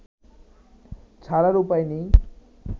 ছাড়ার উপায় নেই